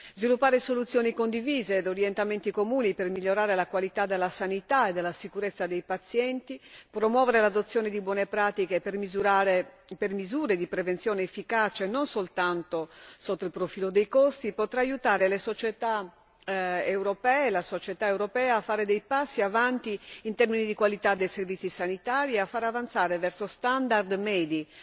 Sviluppare soluzioni condivise ed orientamenti comuni per migliorare la qualità della sanità e della sicurezza dei pazienti e promuovere l'adozione di buone pratiche per misure di prevenzione efficace, non soltanto sotto il profilo dei costi, potrà aiutare le società europee e la società europea a fare dei passi avanti in termini di qualità dei servizi sanitari e a fare avanzare verso standard medi